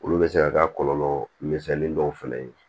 Olu bɛ se ka kɛ a kɔlɔlɔ misɛnnin dɔw fana ye